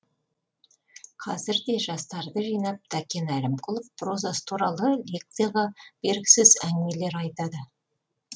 қазір де жастарды жинап тәкен әлімқұлов прозасы туралы лекцияға бергісіз әңгімелер айтады